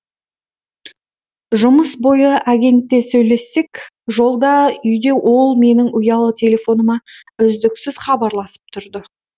жұмыс бойы агентте сөйлессек жолда үйде ол менің ұялы телефоныма үздіксіз хабарласып тұрды